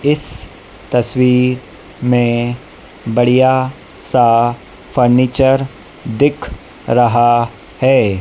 इस तस्वीर में बढ़िया सा फर्निचर दिख रहा है।